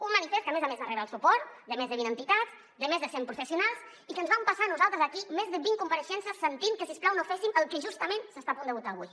un manifest que a més a més de rebre el suport de més de vint entitats de més de cent professionals i que ens vam passar nosaltres aquí més de vint compareixences sentint que si us plau no féssim el que justament s’està a punt de votar avui